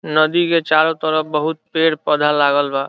नदी के चारों तरफ बहुत पेड़ पौधा लागल बा।